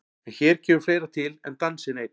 En hér kemur fleira til en dansinn einn.